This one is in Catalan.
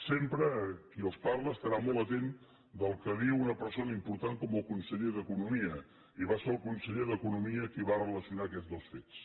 sempre qui els parla estarà molt atent del que diu una persona important com el conseller d’economia i va ser el conseller d’economia qui va relacionar aquests dos fets